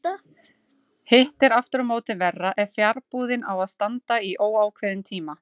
Hitt er aftur á móti verra ef fjarbúðin á að standa í óákveðinn tíma.